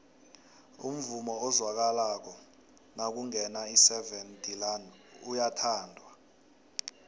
umvumo ozwakala nakungena iseven delaan uyathandwa